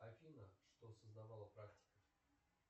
афина что создавала практика